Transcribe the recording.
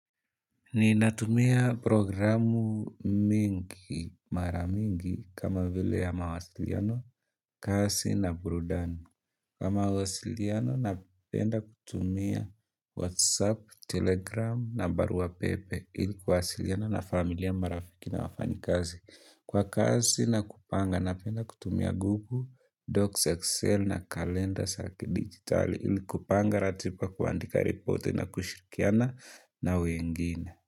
Ninatumia programu mingi maramingi kama vile ya mawasiliano, kasi na burudani. Kwa mawasiliano napenda kutumia whatsapp, telegram na barua pepe ilikuwasiliana na familia marafiki na wafanyikazi. Kwa kasi nakupanga napenda kutumia google, docs excel na kalenda za kidigitali ilikupanga ratiba kuandika reporte na kushirikiana na wengine.